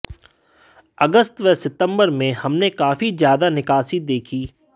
अगस्त व सितंबर में हमने काफी ज्यादा निकासी देखी